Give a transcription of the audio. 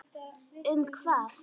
Um hvað?